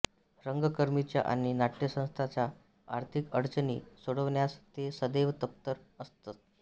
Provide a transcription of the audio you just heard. रंगकर्मींच्या आणि नाट्यसंस्थांच्या आर्थिक अडचणी सोडवण्यास ते सदैव तत्पर असत